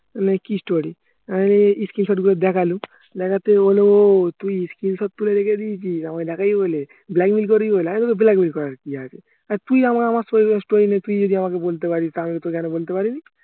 মানে কি story আহ screenshot গুলো দেখালুম দেখতে ও তুই screenshot তুলে রেখে দিয়েছিস আমাকে দেখবি বলে blackmail করবি বলে আমি বললুম blackmail করার কি আছে তুই আমার story নিয়ে তুই যদি আমাকে বলতে পারিস তো আমি কি কেন বলতে পারিনি